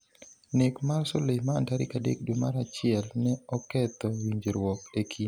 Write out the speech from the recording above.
Nek mar Soleimani tarik adek dwe mar achiel ne oketho winjruok e kind piny Iran kod Amerika.